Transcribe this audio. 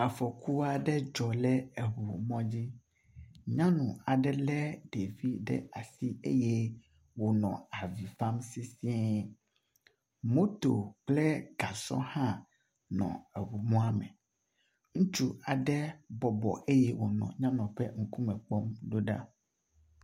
Afɔku aɖe dzɔ ɖe eŋu mɔ dzi. Nyɔnu aɖe le ɖevi ɖe asi eye wo le avi fam sesie. Moto kple gasɔ hã nɔ eŋu mɔa me. Ŋutsu aɖe bɔbɔ eye wonɔ nyɔnua ƒe ŋkume kpɔm ɖoɖa.